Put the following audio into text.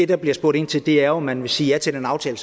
der bliver spurgt ind til er jo om man vil sige ja til den aftale